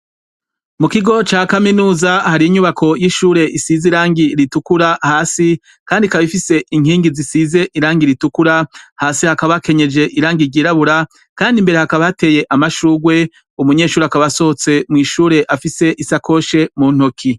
Mu kigo ca kaminuza hari inyubako y'ishure isize irangi ritukura hasi, kandi kaba ifise inkingi zisize irangi ritukura; hasi hakaba akenyeje irangi ryirabura, kandi imbere hakaba hateye amashurwe; umunyeshuri akaba asohotse mw' ishure afise isakoshe mu ntoki.